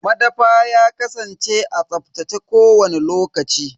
Madafa ya kasance a tsaftace kowani lokaci.